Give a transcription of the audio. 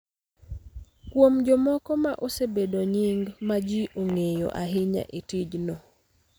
kuom jomoko ma osebedo nying� ma ji ong�eyo ahinya e tijno.